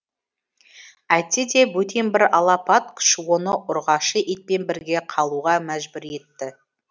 әйтсе де бөтен бір алапат күш оны ұрғашы итпен бірге қалуға мәжбүр етті